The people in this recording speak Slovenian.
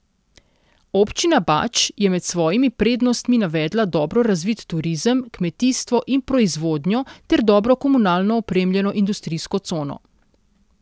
Občina Bač je med svojimi prednostmi navedla dobro razvit turizem, kmetijstvo in proizvodnjo ter dobro komunalno opremljeno industrijsko cono.